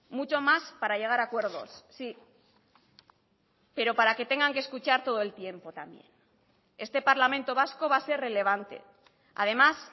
mucho más para llegar a acuerdos sí pero para que tengan que escuchar todo el tiempo también este parlamento vasco va a ser relevante además